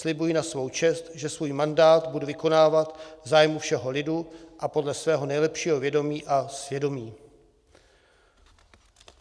Slibuji na svou čest, že svůj mandát budu vykonávat v zájmu všeho lidu a podle svého nejlepšího vědomí a svědomí."